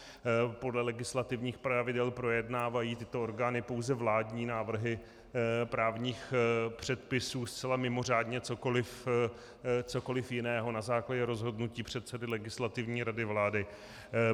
Podle legislativních pravidel projednávají tyto orgány pouze vládní návrhy právních předpisů, zcela mimořádně cokoliv jiného na základě rozhodnutí předsedy Legislativní rady vlády.